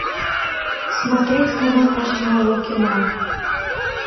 смотреть канал наше новое кино